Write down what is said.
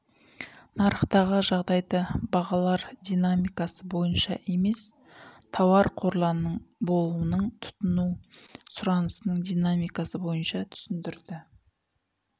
нарықтағы жағдайды бағалар динамикасы бойынша емес тауар қорларының болуының тұтыну сұранысының динамикасы бойынша түсіндірді